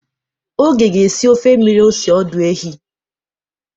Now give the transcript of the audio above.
Oge ga-esi ofe mmiri ose ọdụ ehi.